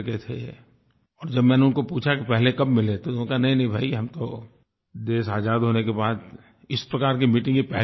और जब मैंने उनको पूछा कि पहले कब मिले थे तो उन्होंने कहा नहींनहीं भाई हम तो देश आज़ाद होने के बाद इस प्रकार की मीटिंग ये पहली हुई है